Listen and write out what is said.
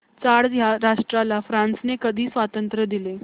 Chad या राष्ट्राला फ्रांसने कधी स्वातंत्र्य दिले